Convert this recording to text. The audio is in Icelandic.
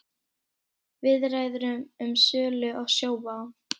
Viðræður um sölu á Sjóvá